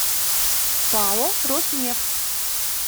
пао роснефть